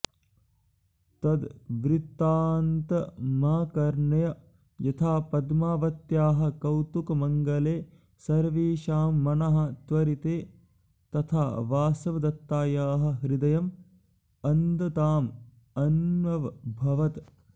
तद्वृत्तान्तमाकर्ण्य यथा पद्मावत्याः कौतुकमङ्गले सर्वेषां मनः त्वरते तथा वासवदत्तायाः हृदयम् अन्धताम् अन्वभवत्